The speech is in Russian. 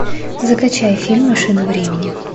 закачай фильм машина времени